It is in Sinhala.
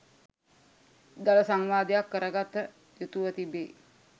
දළ සංවාදයක් කරගත යුතුව තිබේ.